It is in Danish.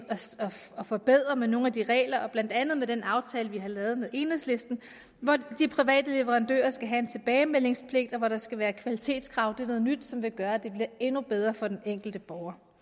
og forbedrer med nogle af de regler har blandt andet den aftale vi har lavet med enhedslisten hvor de private leverandører skal have en tilbagemeldingspligt og hvor der skal være kvalitetskrav det er noget nyt som vil gøre at det bliver endnu bedre for den enkelte borger